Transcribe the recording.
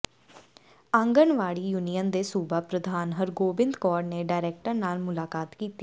anganwadi union ਦੇ ਸੂਬਾ ਪ੍ਰਧਾਨ ਹਰਗੋਬਿੰਦ ਕੌਰ ਨੇ ਡਾਇਰੈਕਟਰ ਨਾਲ ਮੁਲਾਕਾਤ ਕੀਤੀ